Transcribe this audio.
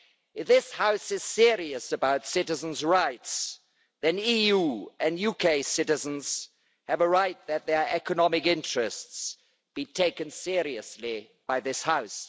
If this House is serious about citizens' rights, then EU and UK citizens have a right that their economic interests be taken seriously by this House.